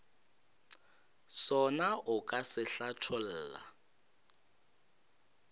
sona o ka se hlatholla